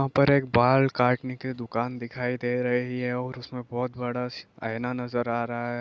यहा पर एक बाल काटने की दुकान दिखाई दे रही है और उसमें बहुत बड़ा सी आईना नजर आ रहा है।